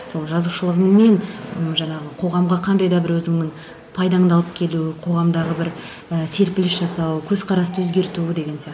сол жазушылығыңмен ы жаңағы қоғамға қандай да бір өзіңнің пайдаңды алып келу қоғамдағы бір ііі серпіліс жасау көзқарасты өзгерту деген